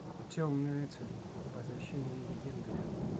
темный рыцарь возвращение легенды